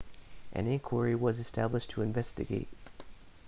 an inquiry was established to investigate